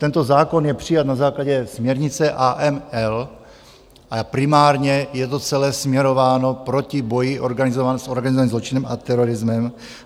Tento zákon je přijat na základě směrnice AML a primárně je to celé směrováno proti boji s organizovaným zločinem a terorismem.